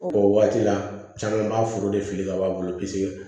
o waati la caman b'a foro de fili ka bɔ a bolo